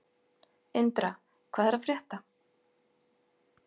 Indra, hvað er að frétta?